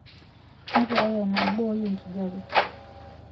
nakerai ena boiii ekijape